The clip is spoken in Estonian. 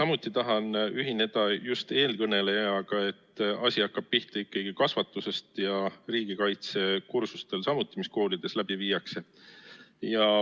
Ma tahan ühineda eelkõnelejaga, et asi hakkab pihta ikkagi kasvatusest ja samuti riigikaitsekursustest, mis koolides on.